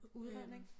Udredning